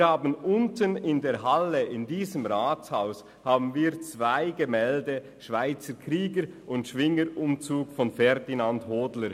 Wir haben unten in der Halle in diesem Rathaus die zwei Gemälde «AlterSchweizerkrieger» und «Schwingerumzug» von Ferdinand Hodler.